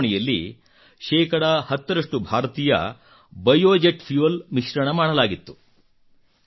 ಈ ಉಡಾವಣೆಯಲ್ಲಿ ಶೇ 10 ರಷ್ಟು ಭಾರತೀಯ ಬಯೋಜೆಟ್ ಫ್ಯೂಯೆಲ್ ಮಿಶ್ರಣ ಮಾಡಲಾಗಿತ್ತು